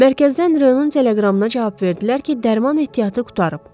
Mərkəzdən Royun teleqramına cavab verdilər ki, dərman ehtiyatı qurtarıb.